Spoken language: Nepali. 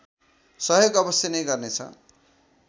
सहयोग अवश्य नै गर्नेछ